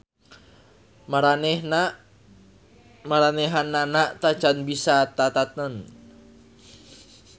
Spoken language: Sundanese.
Maranehanana tacan bisa tatanen.